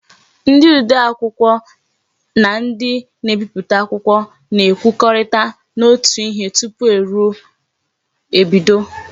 Ndi odee akwukwo na ndi na-ebiputa akwukwo na-ekwokorita n'otu ihe tupu eru ebido.